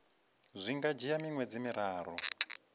zwi nga dzhia miṅwedzi miraru